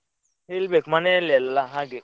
ಹೇಳ್ಬೇಕು ಮನೆಯಲ್ಲೇಲ್ಲ ಹಾಗೆ.